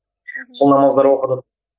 сол намаздар оқыдық